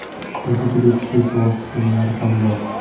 Bizda juda kuchli suvosti kemalari ham bor.